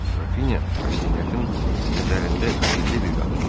Qrafinya Rastyakın nəzərində sirli bir qadın idi.